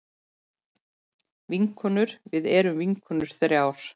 Vinkonur við erum vinkonur þrjár.